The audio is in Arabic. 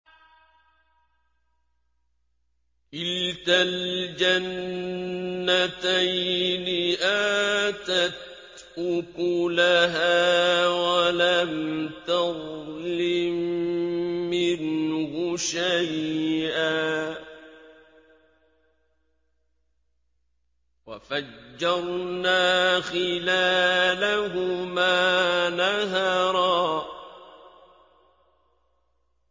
كِلْتَا الْجَنَّتَيْنِ آتَتْ أُكُلَهَا وَلَمْ تَظْلِم مِّنْهُ شَيْئًا ۚ وَفَجَّرْنَا خِلَالَهُمَا نَهَرًا